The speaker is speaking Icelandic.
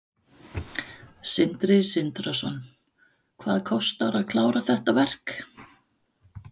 Sindri Sindrason: Hvað kostar að klára þetta verk?